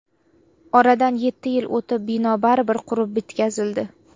Oradan yetti yil o‘tib, bino baribir qurib bitkazildi.